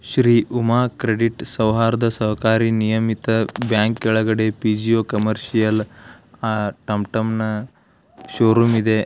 Shri Uma credit ಸೌಹಾರದ ಸಹಕಾರಿ ನಿಯಮಿತ ಬ್ಯಾಂಕ್ ಕೆಳಗಡೆ ಪಿಜಿಓ ಕಮರ್ಷಿಯಲ್ ಟಂ ಟಂನ ಷೋರೂಮ್ ಇದೆ.